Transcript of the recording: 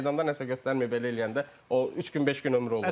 Meydanda nəsə göstərməyib belə eləyəndə o üç gün, beş gün ömrü olur.